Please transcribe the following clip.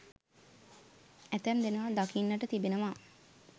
ඇතැම් දෙනා දකින්නට තිබෙනවා.